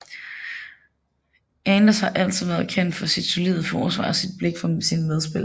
Anders har altid været kendt for sit solide forsvar og sit blik for sine medspillere